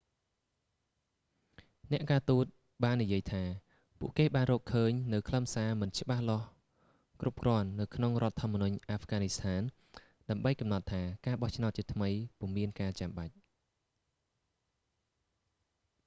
អ្នកការទូតបាននិយាយថា ពួកគេបានរកឃើញនូវខ្លឹមសារមិនច្បាស់លាស់គ្រប់គ្រាន់នៅក្នុងរដ្ឋធម្មនុញអាហ្វហ្គានីស្ថាន ដើម្បីកំណត់ថាការបោះឆ្នោតជាថ្មី ពុំមានការចាំបាច់